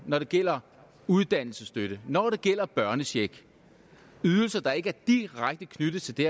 når det gælder uddannelsesstøtte når det gælder børnecheck ydelser der ikke er direkte knyttet til det